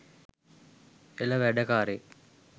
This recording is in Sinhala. එල වැඩකාරයෙක්